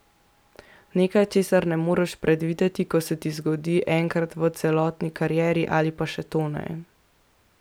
Nekaj, česar ne moreš predvideti, ko se ti zgodi enkrat v celotni karieri ali pa še to ne.